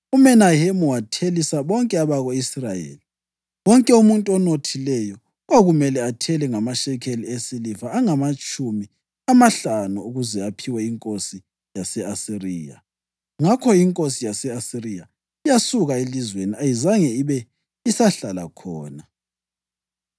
UMenahemu wathelisa bonke abako-Israyeli. Wonke umuntu onothileyo kwakumele athele ngamashekeli esiliva angamatshumi amahlanu ukuze aphiwe inkosi yase-Asiriya. Ngakho inkosi yase-Asiriya yasuka elizweni, ayizange ibe isahlala khona.